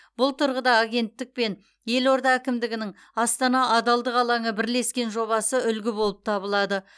бұл тұрғыда агенттік пен елорда әкімдігінің астана адалдық алаңы бірлескен жобасы үлгі болып табылады